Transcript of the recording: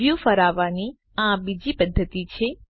view ફરાવવાની આ બીજી પદ્ધતિ છે